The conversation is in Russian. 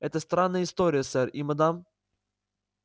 это странная история сэр и мадам